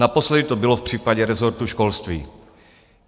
Naposledy to bylo v případě rezortu školství.